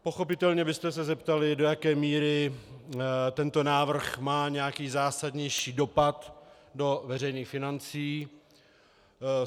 Pochopitelně byste se zeptali, do jaké míry tento návrh má nějaký zásadnější dopad do veřejných financí.